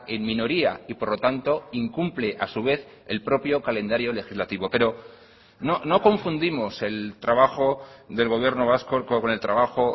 en minoría y por lo tanto incumple a su vez el propio calendario legislativo pero no confundimos el trabajo del gobierno vasco con el trabajo